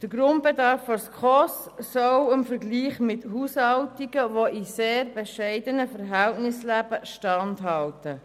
Der Grundbedarf der SKOS soll in sehr bescheidenen dem Vergleich mit Haushalten Verhältnissen standhalten.